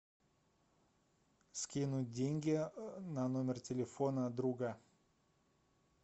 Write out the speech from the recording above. скинуть деньги на номер телефона друга